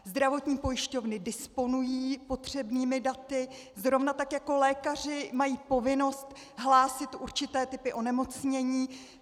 Zdravotní pojišťovny disponují potřebnými daty, zrovna tak jako lékaři mají povinnost hlásit určité typy onemocnění.